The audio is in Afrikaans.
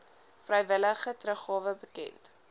vrywillige teruggawe bekend